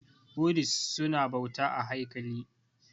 Budist su na bauta a haikali